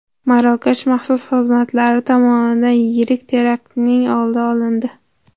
Marokash maxsus xizmatlari tomonidan yirik teraktning oldi olindi .